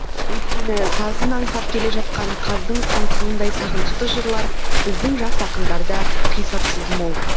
өйткені сазын аңсап келе жатқан қаздың қаңқылындай сағынышты жырлар біздің жас ақындарда қисапсыз мол